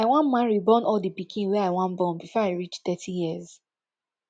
i wan marry born all di pikin wey i wan born before i reach thirty years